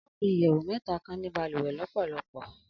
Alapin iyẹwu mẹta kan ni baluwe lọpọlọpọ.